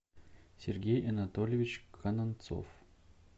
сергей анатольевич кананцов